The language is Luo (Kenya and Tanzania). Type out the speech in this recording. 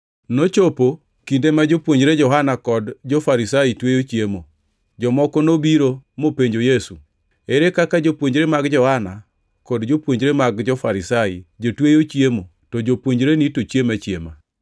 Nochopo kinde ma jopuonjre Johana kod jo-Farisai tweyo chiemo. Jomoko nobiro mopenjo Yesu: “Ere kaka Jopuonjre mag Johana kod jopuonjre mag jo-Farisai jotweyo chiemo to jopuonjreni to chiemo achiema?”